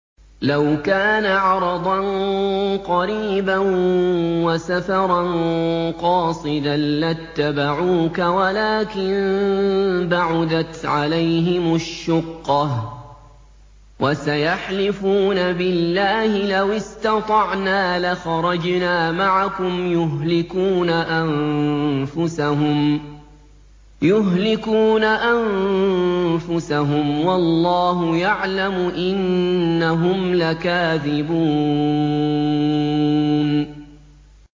لَوْ كَانَ عَرَضًا قَرِيبًا وَسَفَرًا قَاصِدًا لَّاتَّبَعُوكَ وَلَٰكِن بَعُدَتْ عَلَيْهِمُ الشُّقَّةُ ۚ وَسَيَحْلِفُونَ بِاللَّهِ لَوِ اسْتَطَعْنَا لَخَرَجْنَا مَعَكُمْ يُهْلِكُونَ أَنفُسَهُمْ وَاللَّهُ يَعْلَمُ إِنَّهُمْ لَكَاذِبُونَ